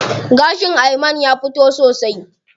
Gashin Ayman ya fito sosai.